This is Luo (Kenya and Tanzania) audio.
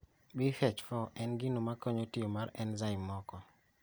BH4 en gino makonyo tiyo mar enzaim moko